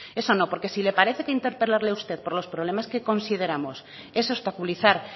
eso no porque si le parece que interpelarle a usted por los problemas que consideramos es obstaculizar